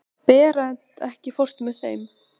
Berent, ekki fórstu með þeim?